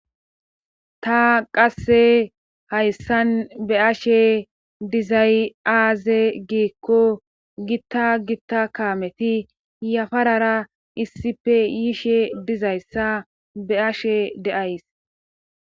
Ta qasse hayssan be ashe dizay aaze giikko gitta gitta kaameti yafarara issippe yiishe dizayssa be ashe deays.